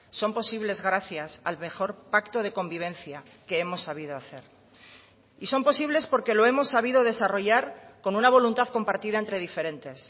son posibles gracias al mejor pacto de convivencia que hemos sabido hacer y son posibles porque lo hemos sabido desarrollar con una voluntad compartida entre diferentes